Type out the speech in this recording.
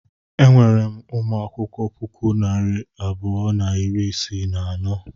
Enwere m ụmụ akwụkwọ puku na narị abụọ na iri isii na anọ.